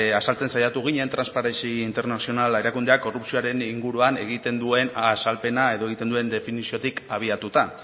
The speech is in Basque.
azaltzen saiatu ginen transparentzia internazional erakundeak korrupzioaren inguruan egiten duen azalpena edo egiten duen definiziotik abiatuta